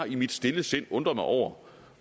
i mit stille sind har undret mig over